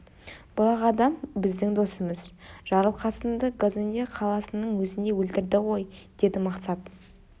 бұл ақ адам біздің досымыз жарылқасынды казонде қаласының өзінде өлтірді ғой деді мақсат